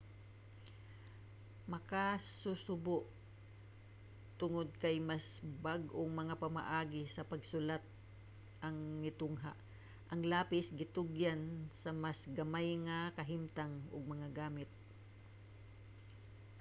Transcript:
makasusubo tungod naay mas bag-ong mga pamaagi sa pagsulat ang nitungha ang lapis gitugyan sa mas gamay nga kahimtang ug mga gamit